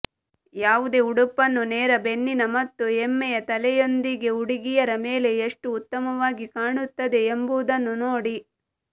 ಯಾವುದೇ ಉಡುಪನ್ನು ನೇರ ಬೆನ್ನಿನ ಮತ್ತು ಹೆಮ್ಮೆಯ ತಲೆಯೊಂದಿಗೆ ಹುಡುಗಿಯರ ಮೇಲೆ ಎಷ್ಟು ಉತ್ತಮವಾಗಿ ಕಾಣುತ್ತದೆ ಎಂಬುದನ್ನು ನೋಡಿ